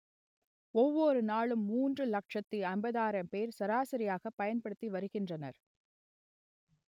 ஒவ்வொரு நாளும் மூன்று லட்சத்து ஐம்பதாயிரம் பேர் சராசரியாக பயன்படுத்தி வருகின்றனர்